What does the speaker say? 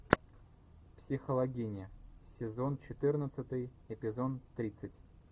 психологини сезон четырнадцатый эпизод тридцать